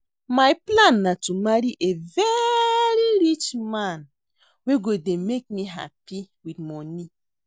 My plan na to marry a very rich man wey go dey make me happy with money